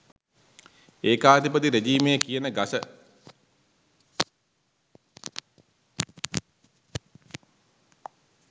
ඒකාධිපති රෙජිමය කියන ගස